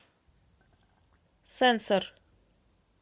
сенсор